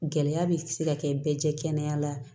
Gɛlɛya bɛ se ka kɛ bɛɛ jɛ kɛnɛ la